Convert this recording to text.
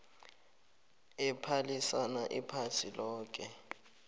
ephalisana iphasi loke